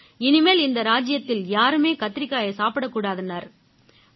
இனிமேல் இந்த ராஜ்ஜியத்தில யாருமே கத்திரிக்காயையே சாப்பிடக்கூடாதுன்னாரு